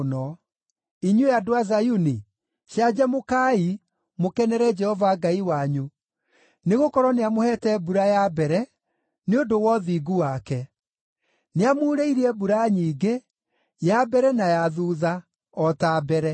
Inyuĩ andũ a Zayuni, canjamũkai, mũkenere Jehova Ngai wanyu, nĩgũkorwo nĩamũheete mbura ya mbere nĩ ũndũ wa ũthingu wake. Nĩamuurĩirie mbura nyingĩ ya mbere na ya thuutha, o ta mbere.